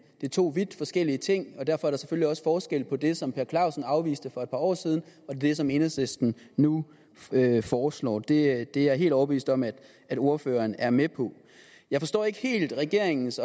det er to vidt forskellige ting og derfor er der selvfølgelig også forskel på det som herre per clausen afviste for et par år siden og det som enhedslisten nu foreslår det er jeg helt overbevist om at at ordføreren er med på jeg forstår ikke helt regeringens